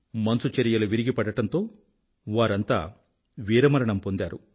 మంచుచరియలు విరిగిపడడంతో వారంతా వీరమరణం పొందారు